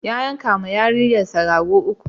Ya yankawa yarinrsa raguna uku.